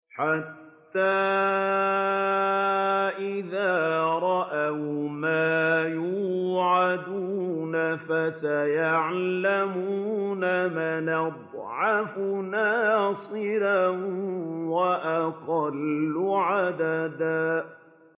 حَتَّىٰ إِذَا رَأَوْا مَا يُوعَدُونَ فَسَيَعْلَمُونَ مَنْ أَضْعَفُ نَاصِرًا وَأَقَلُّ عَدَدًا